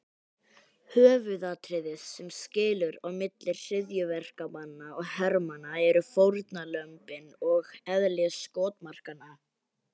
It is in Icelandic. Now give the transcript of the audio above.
Höfuðatriðið sem skilur á milli hryðjuverkamanna og hermanna eru fórnarlömbin og eðli skotmarkanna.